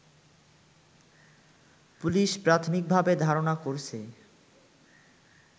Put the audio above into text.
police প্রাথমিকভাবে ধারণা করছে